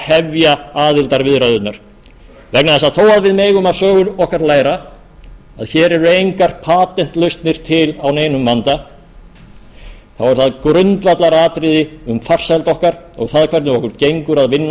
hefja aðildarviðræðurnar vegna þess að þó að við megum af sögu okkar læra að hér eru engar patentlausnir til á neinum vanda er það grundvallaratriði um farsæld okkar og það hvernig okkur gengur að vinna